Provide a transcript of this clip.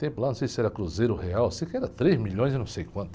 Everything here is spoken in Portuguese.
No tempo lá, não sei se era cruzeiro real, sei que era três milhões e não sei quanto.